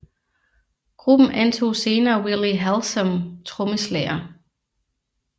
Gruppen antog senere Willie Hallsom trommeslager